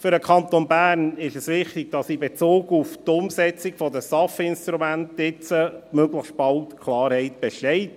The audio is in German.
Für den Kanton Bern ist es wichtig, dass in Bezug auf die Umsetzung der STAF-Instrumente jetzt möglichst bald Klarheit besteht.